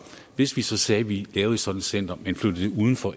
hvis vi så sagde at vi laver sådan et center men flytter det uden for